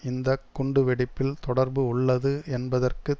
இந்த குண்டு வெடிப்பில் தொடர்பு உள்ளது என்பதற்கு